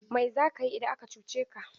Mai za ka yi idan ya cuce ka?